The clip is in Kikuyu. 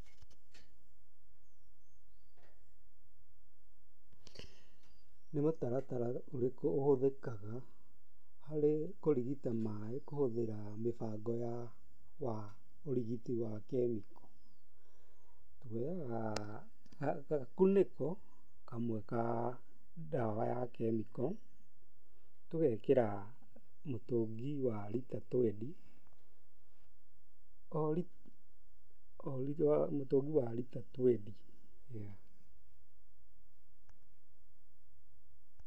Nĩ mũtaratara ũrĩkũ ũhũthíkĩga harĩ kũrigita maaĩ kũhũthĩra mĩbango wa ũrigiti wa kemiko? tũhũthagĩra gakunĩko kamwe ka dawa ya kĩmĩko, tũgekĩra mũtũngi wa rita twendi o ri mũtũngi wa rita twendi.